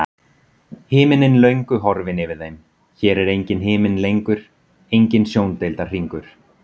Himinninn löngu horfinn yfir þeim, hér er enginn himinn lengur, enginn sjóndeildarhringur.